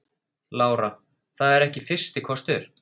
Lára: Það er ekki fyrsti kostur?